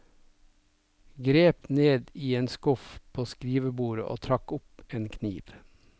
Grep ned i en skuff påskrivebordet og trakk opp en kniv.